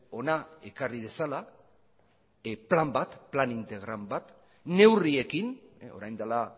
hona ekarri dezala plan bat plan integral bat neurriekin orain dela